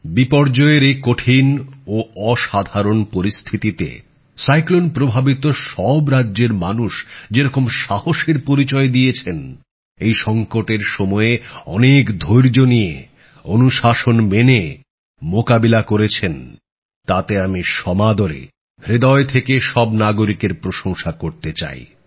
বিপর্যয়ের এই কঠিন ও অসাধারণ পরিস্থিতিতে ঘূর্ণিঝড় প্রভাবিত সব রাজ্যের মানুষ যেরকম সাহসের পরিচয় দিয়েছেন এই সঙ্কটের সময় অনেক ধৈর্য নিয়ে অনুশাসন মেনে মোকাবিলা করেছেন তাতে আমি সমাদরে হৃদয় থেকে সব নাগরিকের প্রশংসা করতে চাই